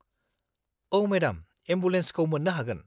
औ मेडाम, एम्बुलेन्सखौ मोन्नो हागोन।